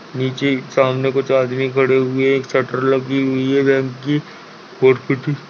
नीचे सामने कुछ आदमी खड़े हुए हैं एक शटर लगी हुई है की और कुछ --